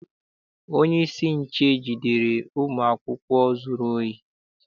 Onyeisi nche jidere ụmụ akwụkwọ zụrụ ohi.